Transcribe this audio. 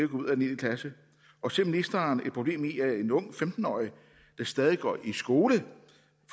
ud af niende klasse og ser ministeren et problem i at en ung femten årig der stadig går i skole